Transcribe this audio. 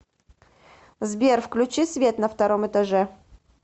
сбер включи свет на втором этаже